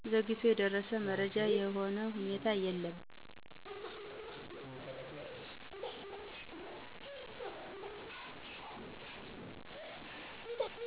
ዘግይቶ የደረሰ መረጃም ሆነ ሁኔታ የለም